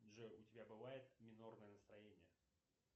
джой у тебя бывает минорное настроение